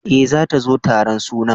E, zata zo taron sunan.